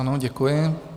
Ano, děkuji.